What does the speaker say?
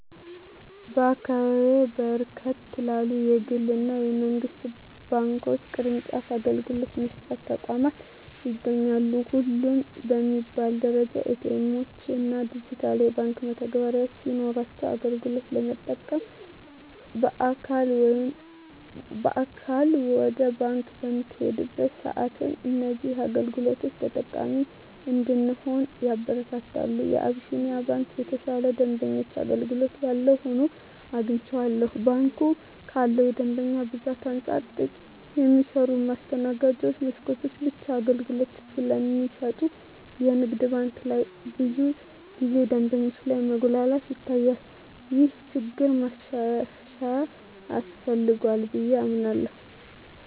በአካባቢየ በርከት ያሉ የግል እና የመንግስት ባንክ ቅርጫፍ አገልግሎት መስጫ ተቋማት ይገኛሉ። ሁሉም በሚባል ደረጃ ኤ.ቲ. ኤምዎች እና ዲጂታል የባንክ መተግበሪያዎች ሲኖሯቸው አገልግሎት ለመጠቀም በአካል ወደ ባንክ በምንሄድበት ሰአትም እዚህን አገልግሎቶች ተጠቃሚ እንድንሆን ያበረታታሉ። የአቢስንያ ባንክ የተሻለ የደንበኛ አገልግሎት ያለው ሆኖ አግኝቸዋለሁ። ባንኩ ካለው የደንበኛ ብዛት አንፃር ጥቂት የሚሰሩ የማስተናገጃ መስኮቶች ብቻ አገልግሎት ስለሚሰጡ የንግድ ባንክ ላይ ብዙ ጊዜ ደንበኞች ላይ መጉላላት ይታያል። ይህ ችግር ማሻሻያ ያስፈልገዋል ብየ አምናለሁ።